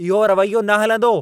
इहो रवैयो न हलंदो।